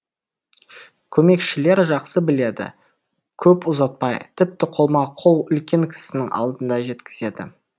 көмекшілер жақсы біледі көп ұзатпай тіпті қолма қол үлкен кісінің алдына жеткізеді